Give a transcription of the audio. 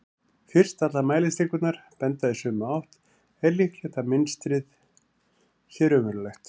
fyrst allar mælistikurnar benda í sömu átt er líklegt að mynstrið sé raunverulegt